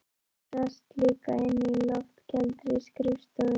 Þú sast líka inni á loftkældri skrifstofu